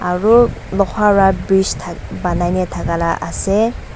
aru Loha laga bridge bonai ni thaka laga ase.